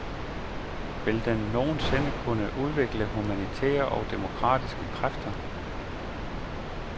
Vil den nogen sinde kunne udvikle humanitære og demokratiske kræfter?